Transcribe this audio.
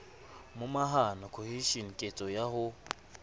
momahano cohesion ketso ya ho